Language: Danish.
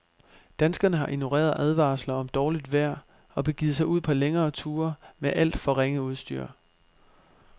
Danskerne har ignoreret advarsler om dårligt vejr og begivet sig ud på længere ture med alt for ringe udstyr.